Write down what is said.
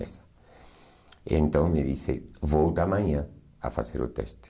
Então me disse, volta amanhã a fazer o teste.